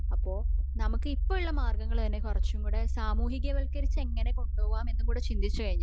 അപ്പോ നമുക് ഇപ്പൊ ഉള്ള മാര്ഗങ്ങള് തന്നെ കുറച്ചുകുടെ സാമൂഹിക വത്കരിച് എങ്ങനെ കൊണ്ടോവാൻ എന്നകുടെ ചിന്തിച്ചുകഴിഞ്ഞ